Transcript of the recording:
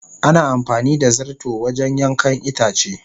Ana amfani da zarto wajen yankan itace.